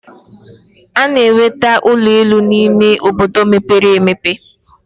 A na-enweta ụlọ elu n'ime obodo mepere emepe.